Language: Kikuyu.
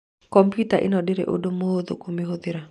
Komputa ĩno ndĩrĩ ũndũ mũhũthũ kũmĩhũthĩra.